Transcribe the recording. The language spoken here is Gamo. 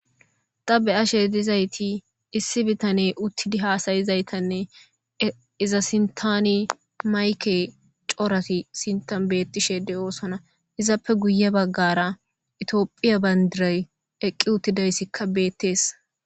Ta be'ashe dizayti issi bitane uttidi haasayizaytanne iza sintani mayke corati sintan beettishe de7oosona izappe guye baggara itiophiya bandiray eqqi uttidayssikka beettees